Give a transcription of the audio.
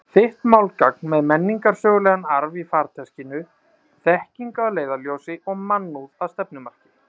Þitt málgagn með menningarsögulegan arf í farteskinu, þekkingu að leiðarljósi og mannúð að stefnumarki.